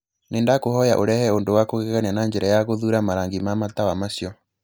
Nĩndakũhoya ũrehe ũndũ wa kũgegania na njĩra ya gũthuura marangi ma matawa macio